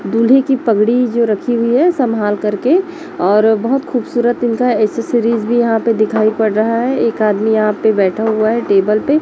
दूल्हे की पगड़ी जो रखी हुई है संभाल करके और बहोत खूबसूरत इनका एसेसरीज भी यहाँ पे दिखाई पड़ रहा है। एक आदमी यहाँ पे बैठा हुआ है टेबल पे --